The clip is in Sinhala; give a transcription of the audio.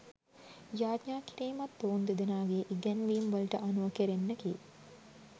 යාඤා කිරීමත් ඔවුන් දෙදෙනාගේ ඉගැන්වීම් වලට අනුව කෙරෙන්නකි.